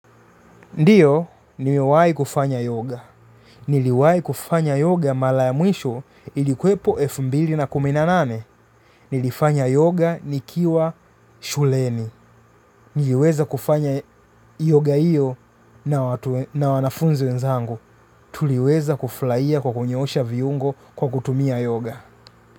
Ndiyo niliwahi kufanya yoga. Niliwahi kufanya yoga mara ya mwisho ilikuwepo elfu mbili na kumi na nane. Nilifanya yoga nikiwa shuleni. Niliweza kufanya yoga hiyo na wanafunzi wenzangu. Tuliweza kufurahia kwa kunyosha viungo kwa kutumia yoga.